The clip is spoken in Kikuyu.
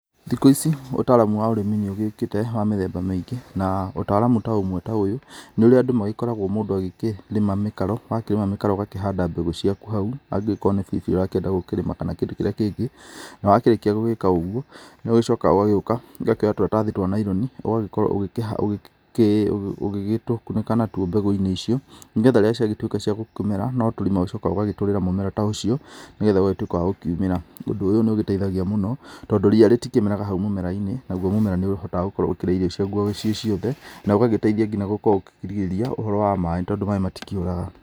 Thikũ ici ũtaramu wa ũrĩmi nĩ ũgĩũkĩte wa mĩthemba mĩingĩ na ũtaramu ta ũmwe ta ũyũ nĩ ũrĩa andũ magĩkoragwo mũndũ agĩkĩrĩma mĩkaro, wakĩrĩma mĩkaro ũgakĩhanda mbegũ ciaku hau angĩkorwo nĩ biribiri ũrakĩenda gũkĩrĩma kana kĩndũ kĩrĩa kĩngĩ, na wakĩrĩkia gũgĩka ũguo, nĩ ũgĩcokaga ũgagĩũka ũgakĩoya tũratathi twa naironi ũgagĩkorwo ũgĩgĩtũkunĩka natuo mbegũ-inĩ icio, nĩgetha rĩrĩa ciagĩtuĩka cia gũkĩmera, no tũrima ũcokaga ũgagĩtũrĩra mũmera ta ũcio, nĩgetha ũgagĩtuĩka wa gũkiumĩra. Ũndũ ũyũ nĩ ũgĩteithagia mũno tondũ ria rĩtikĩmeraga hau mũmera-inĩ, naguo mũmera nĩ ũhotaga gũkorwo ũkĩrĩa irio ciaguo ciĩ ciothe na ũgagĩteithia nginya gũkorwo ũkĩrigĩrĩria ũhoro wa maĩ tondũ maĩ matikĩũraga.